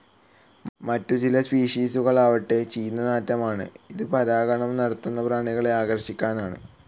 മറ്റ് ചില സ്പിഷീസുകൾ ആവട്ടെ ചീഞ്ഞ നാറ്റമാണ്, ഇതും പരാഗണം നടത്തുന്ന പ്രാണികളെ ആകർഷിക്കാനാണ്.